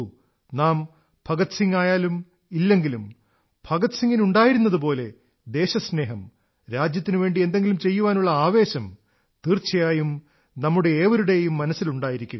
നാം ഭഗത്സിംഹ് ആയാലും ഇല്ലെങ്കിലും ഭഗത് സിംഗിനുണ്ടായിരുന്നതുപോലെ ദേശസ്നേഹം രാജ്യത്തിനുവേണ്ടി എന്തെങ്കിലും ചെയ്യാനുള്ള ആവേശം തീർച്ചയായും നമ്മുടെ ഏവരുടെയും മനസ്സിലുണ്ടായിരിക്കുക